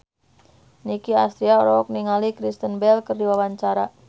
Nicky Astria olohok ningali Kristen Bell keur diwawancara